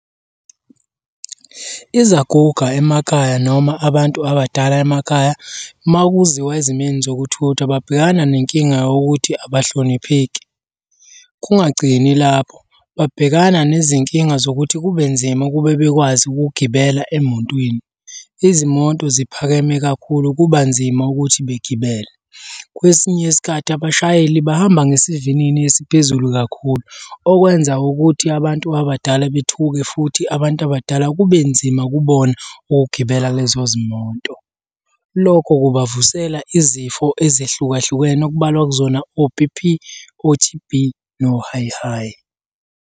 Izaguga emakhaya noma abantu abadala emakhaya, uma kuziwa ezimeni zokuthutha babhekana nenkinga yokuthi abahlonipheki. Kungagcini lapho, babhekana nezinkinga zokuthi kube nzima ukube bekwazi ukugibela emotweni. Izimoto ziphakeme kakhulu kuba nzima ukuthi begibele. Kwesinye isikhathi abashayeli bahamba ngesivinini esiphezulu kakhulu, okwenza ukuthi abantu abadala bethuke futhi abantu abadala kube nzima kubona ukugibela lezo zimoto. Lokho kubavusela izifo ezehlukahlukene okubalwa kuzona o-B_P, o-T_B, no-high high.